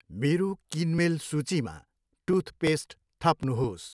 मेरो किनमेल सूचीमा टुथपेस्ट थप्नुहोस्।